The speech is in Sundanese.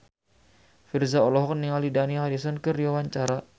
Virzha olohok ningali Dani Harrison keur diwawancara